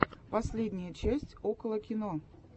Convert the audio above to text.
последняя часть около кино